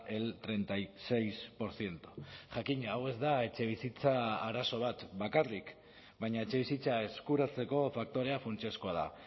el treinta y seis por ciento jakina hau ez da etxebizitza arazo bat bakarrik baina etxebizitza eskuratzeko faktorea funtsezkoa da